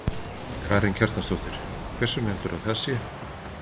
Karen Kjartansdóttir: Hvers vegna heldurðu að það sé?